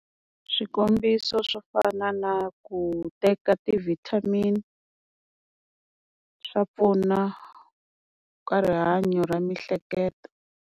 Swikombiso swo fana na ku teka ti-vitamin swa pfuna ka rihanyo ra miehleketo.